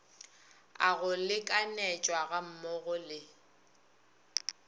a go lekanyetšwa gammogo le